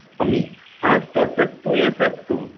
અમી હાસ તો સસ્તું એ સસ્તું